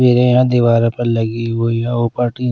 मेरे यहाँ दीवार पर लगी हुई है ।